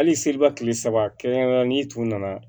Hali seliba kile saba kɛrɛn kɛrɛn kɛrɛnnen n'i tun nana